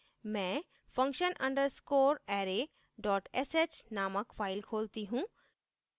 मैं function _ underscore array dot sh नामक file खोलती हूँ